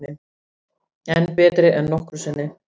Enn betri en nokkru sinni